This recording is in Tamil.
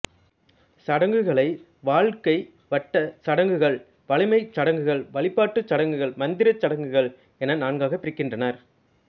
சடங்குகளை வாழ்க்கை வட்ட சடங்குகள் வளமைச் சடங்குகள் வழிபாட்டுச் சடங்குகள் மந்திரச் சடங்குகள் என நான்காகப் பிரிக்கின்றனர்